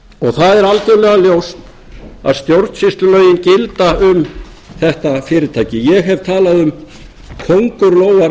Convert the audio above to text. það er algjörlega ljóst að stjórnsýslulögin gilda um þetta fyrirtæki ég hef talað um kóngulóarvef